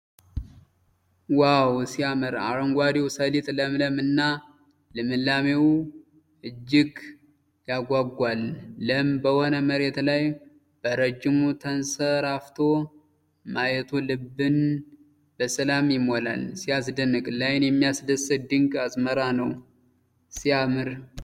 ዋው ሲያምር! አረንጓዴው ሰሊጥ ለምለም እና ልምላሜው እጅግ ያጓጓል። ለም በሆነ መሬት ላይ በረጅሙ ተንሰራፍቶ ማየቱ ልብን በሰላም ይሞላል። ሲያስደንቅ! ለዓይን የሚያስደስት ድንቅ አዝመራ ነው። ሲያምር!